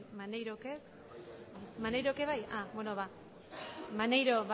maneirok ere bai beno ba maneiro